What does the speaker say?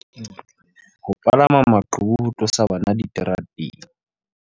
Ho palama maqhubu ho tlosa bana diterateng.